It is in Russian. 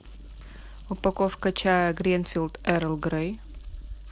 упаковка чая гринфилд эрл грей